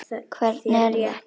Hvernig er það?